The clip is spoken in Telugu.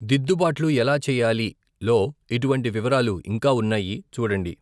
దిద్దుబాట్లు ఎలా చెయ్యాలి లో ఇటువంటి వివరాలు ఇంకా ఉన్నాయి చూడండి.